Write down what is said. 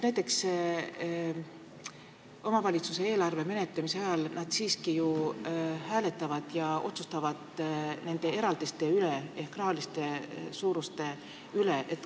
Omavalitsuse eelarve menetlemise ajal nad hääletavad ja otsustavad rahaeraldiste ehk summade suuruse üle.